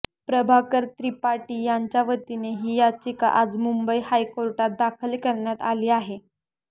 प्रभाकर त्रिपाठी यांच्यावतीने ही याचिका आज मुंबई हायकोर्टात दाखल करण्यात आली आहे